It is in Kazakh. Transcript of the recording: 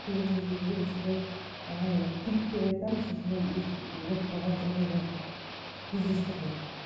кейбір мезгілде де осындай анайдай пик деп айтамыз осындай болып қалған жағыдайлар кездестірдік